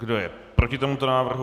Kdo je proti tomuto návrhu?